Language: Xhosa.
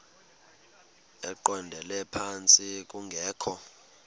eqondele phantsi kungekho